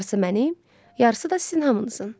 Yarısı mənim, yarısı da sizin hamınızın.